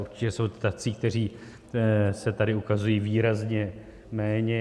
Určitě jsou tací, kteří se tady ukazují výrazně méně.